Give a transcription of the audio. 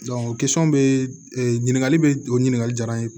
bɛ ɲininkali bɛ o ɲininkali jala n ye